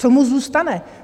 Co mu zůstane?